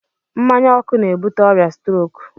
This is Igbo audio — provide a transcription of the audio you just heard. Mmanya ọkụ na-ebute ọrịa stroke.